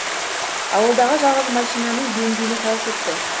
ауылдағы жалғыз машинаның бензині таусылыпты